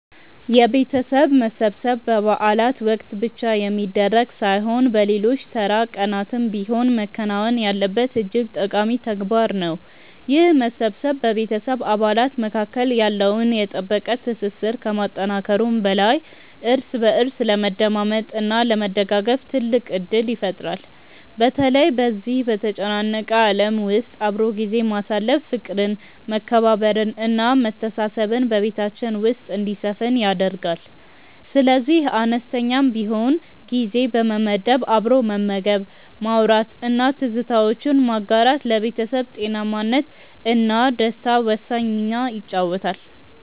የቤተሰብ መሰብሰብ በበዓላት ወቅት ብቻ የሚደረግ ሳይሆን በሌሎች ተራ ቀናትም ቢሆን መከናወን ያለበት እጅግ ጠቃሚ ተግባር ነው። ይህ መሰባሰብ በቤተሰብ አባላት መካከል ያለውን የጠበቀ ትስስር ከማጠናከሩም በላይ እርስ በእርስ ለመደማመጥ እና ለመደጋገፍ ትልቅ ዕድል ይፈጥራል። በተለይ በዚህ በተጨናነቀ ዓለም ውስጥ አብሮ ጊዜ ማሳለፍ ፍቅርን መከባበርን እና መተሳሰብን በቤታችን ውስጥ እንዲሰፍን ያደርጋል። ስለዚህ አነስተኛም ቢሆን ጊዜ በመመደብ አብሮ መመገብ ማውራት እና ትዝታዎችን ማጋራት ለቤተሰብ ጤናማነት እና ደስታ ወሳኝ ሚና ይጫወታል